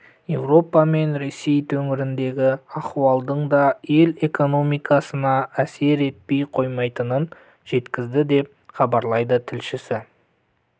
еуропа мен ресей төңірегіндегі аіуалдың да ел экономикасына әсер етпей қоймайтынын жеткізді деп іабарлайды тілшісі